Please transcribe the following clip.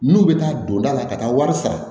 N'u bɛ taa don da la ka taa wari sara